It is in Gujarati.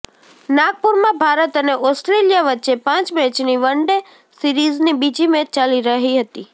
નાગપુરમાં ભારત અને ઓસ્ટ્રેલિયા વચ્ચે પાંચ મેચની વન ડે સીરીઝની બીજી મેચ ચાલી રહરી છે